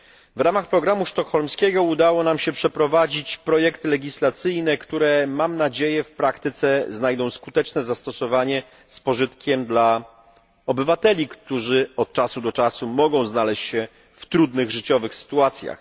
W ramach programu sztokholmskiego udało nam się przeprowadzić projekty legislacyjne, które, mam nadzieję, w praktyce znajdą skuteczne zastosowanie z pożytkiem dla obywateli, którzy od czasu do czasu mogą znaleźć się w trudnych życiowych sytuacjach.